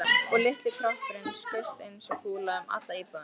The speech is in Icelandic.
Og litli kroppurinn skaust eins og kúla um alla íbúðina.